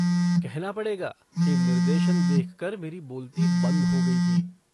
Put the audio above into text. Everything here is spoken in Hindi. कहना पड़ेगा कि निर्देशन देख कर मेरी बोलती बंद हो गई थी।